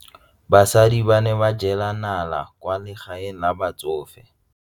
Basadi ba ne ba jela nala kwaa legaeng la batsofe.